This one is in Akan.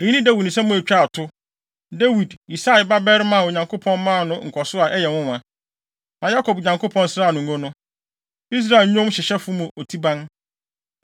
Eyi ne Dawid nsɛm a etwaa to: “Dawid, Yisai ba barima a Onyankopɔn maa no nkɔso a ɛyɛ nwonwa, na Yakob Nyankopɔn sraa no ngo no, Israel nnwomhyehyɛfo mu otiban: